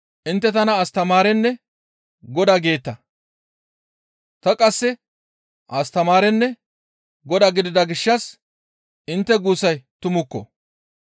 Intte tana Astamaarenne Godaa geeta; ta qasse Astamaarenne Godaa gidida gishshas intte guussay tumukko.